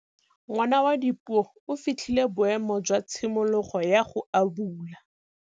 Ngwana wa Dipuo o fitlhile boêmô jwa tshimologô ya go abula.